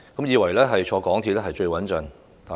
以為乘搭地鐵最穩陣嗎？